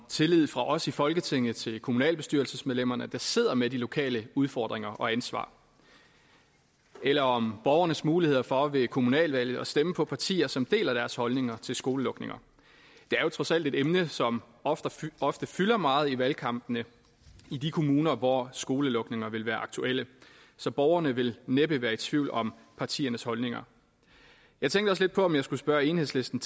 tilliden fra os i folketinget til kommunalbestyrelsesmedlemmerne der sidder med de lokale udfordringer og ansvar eller om borgernes muligheder for ved kommunalvalget at stemme på partier som deler deres holdninger til skolelukninger det er jo trods alt et emne som ofte ofte fylder meget i valgkampene i de kommuner hvor skolelukninger vil være aktuelle så borgerne vil næppe være i tvivl om partiernes holdninger jeg tænkte også lidt på om jeg skulle spørge enhedslisten